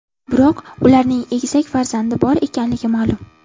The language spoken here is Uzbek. Biroq ularning egizak farzandi bor ekanligi ma’lum.